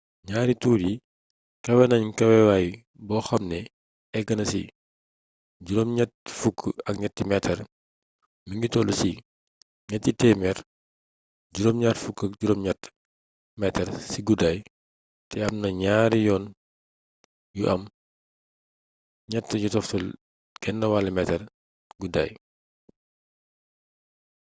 ñaari tuur yi kawe nañ kawewaay boo xam ne eggna ci 83 meetar mi ngi toll ci 378 meetar ci guddaay te am na ñaari yoon yu am 3,50 metaar guddaaay